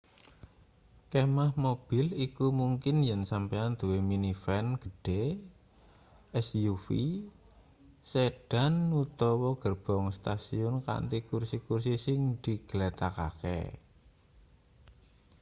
kemah mobil iku mungkin yen sampeyan duwe minivan gedhe suv sedan utawa gerbong stasiun kanthi kursi-kursi sing diglethakake